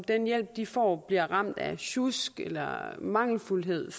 den hjælp de får bliver ramt af sjusk eller mangelfuldhed